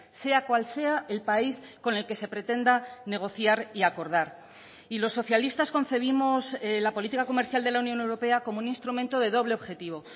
sea cual sea el país con el que se pretenda negociar y acordar y los socialistas concebimos la política comercial de la unión europea como un instrumento de doble objetivo